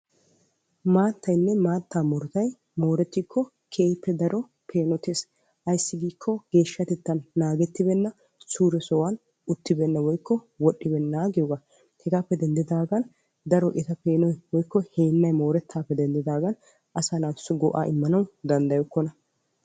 Maattaynne maata miishshay maata miishshay moorettikko keehippe peenotees ayssi giikko geeshshatettan naagetibeenna suure sohuwan woxxibeena hegappe denddidagan etta peenoy mooretees.